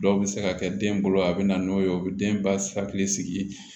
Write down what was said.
Dɔw bɛ se ka kɛ den bolo a bɛ na n'o ye o bɛ den ba hakili sigi